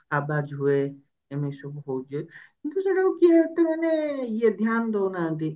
ଆବାଜ ହୁଏ ଏମିତି ସବୁ ହଉଛି କିନ୍ତୁ ସେଟାକୁ କିଏ ଏତେ ମାନେ ଧ୍ୟାନ ଦଉନାହାନ୍ତି ଆଉ